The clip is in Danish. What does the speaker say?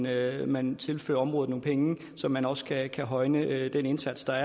at man tilfører området nogle penge så man også kan højne den indsats der